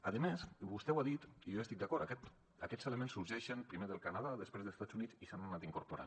a més i vostè ho ha dit i jo hi estic d’acord aquests elements sorgeixen primer del canadà després d’estats units i s’hi han anat incorporant